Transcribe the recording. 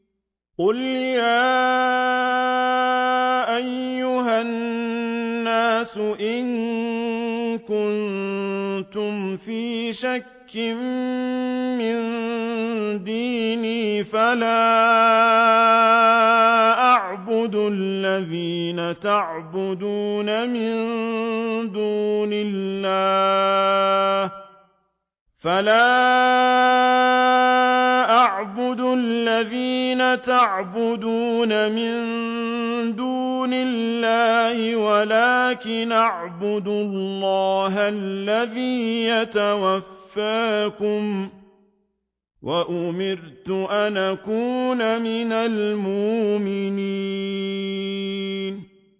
قُلْ يَا أَيُّهَا النَّاسُ إِن كُنتُمْ فِي شَكٍّ مِّن دِينِي فَلَا أَعْبُدُ الَّذِينَ تَعْبُدُونَ مِن دُونِ اللَّهِ وَلَٰكِنْ أَعْبُدُ اللَّهَ الَّذِي يَتَوَفَّاكُمْ ۖ وَأُمِرْتُ أَنْ أَكُونَ مِنَ الْمُؤْمِنِينَ